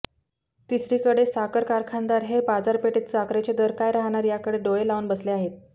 तिसरीकडे साखर कारखानदार हे बाजारपेठेत साखरेचे दर काय रहाणार याकडे डोळे लावून बसले आहेत